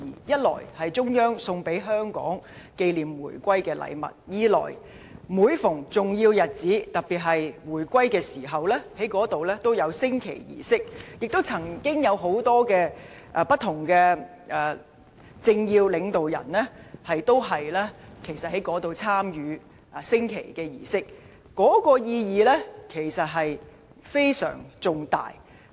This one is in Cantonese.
一來是中央送給香港紀念回歸的禮物，二來是每逢重要日子，特別是在回歸紀念日，該處都會舉行升旗儀式，有很多政要及領導人，均曾在那裏參與升旗儀式，可見其意義之重大。